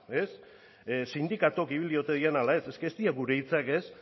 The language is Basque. sindikatuak ibili ote diren edo ez eske ez dira gure hitzak